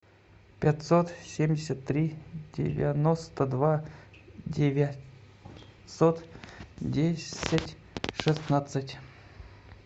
пятьсот семьдесят три девяносто два девятьсот десять шестнадцать